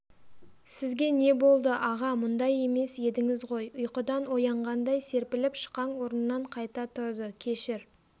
сізге не болды аға мұндай емес едіңіз ғой ұйқыдан оянғандай серпіліп шықаң орнынан қайта тұрды кешір